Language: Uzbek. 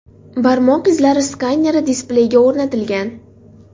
Barmoq izlari skaneri displeyga o‘rnatilgan.